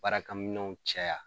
Baarakɛminɛnw caya